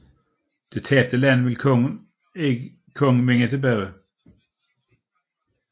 Dette tabte land ville kongen vinde tilbage